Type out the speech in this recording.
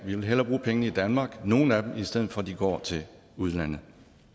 vil hellere bruge pengene i danmark nogle af dem i stedet for at de går til udlandet